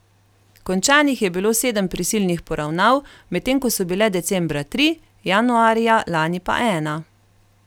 Končanih je bilo sedem prisilnih poravnav, medtem ko so bile decembra tri, januarja lani pa ena.